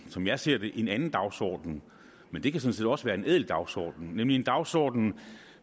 som jeg ser det en anden dagsorden men det kan sådan set også være en ædel dagsorden nemlig en dagsorden